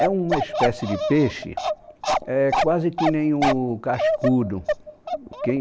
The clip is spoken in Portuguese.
É uma espécie de peixe, é quase que nem o cascudo.